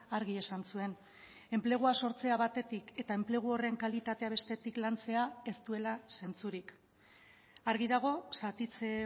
argi esan zuen enplegua sortzea batetik eta enplegu horren kalitatea bestetik lantzea ez duela zentzurik argi dago zatitze